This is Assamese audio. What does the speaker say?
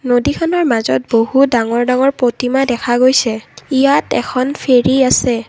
নদীখনৰ মাজত বহুত ডাঙৰ ডাঙৰ প্ৰতিমা দেখা গৈছে ইয়াত এখন ফেৰী আছে।